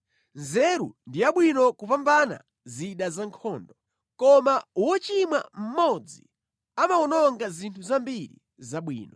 Nzeru ndi yabwino kupambana zida zankhondo, koma wochimwa mmodzi amawononga zinthu zambiri zabwino.